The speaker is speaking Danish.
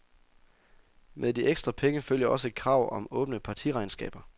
Med de ekstra penge følger også et krav om åbne partiregnskaber.